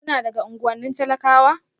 Kuna daga unguwannin talakawa?